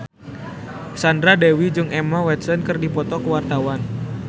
Sandra Dewi jeung Emma Watson keur dipoto ku wartawan